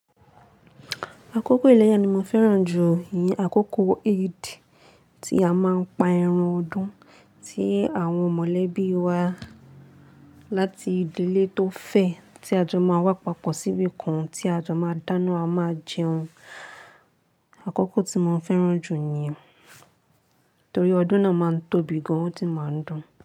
Àkókò ìlẹ̀yà ni mo fẹ́ràn jù yí, àkókò Eid, tí a máa ń pa ẹran ọdún, tí àwọn mọ̀lẹ́bí wa láti ìdílé tó fẹ̀, tí a jọ máa wá papọ̀ síbi kan tí a jọ máa dáná, a máa jẹun. Àkókò tí mo fẹ́ràn jù ni yí torí ọdún náà máa ń tóbi gan, ó sì máa ń dùn.